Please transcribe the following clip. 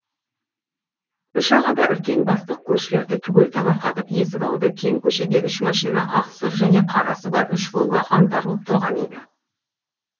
үш аға да үлкен бастық көршілерді түгел таңырқатып есік алды кең көшеде үш машина ақсұр және қарасы бар үш волга қаңтарылып тұрған еді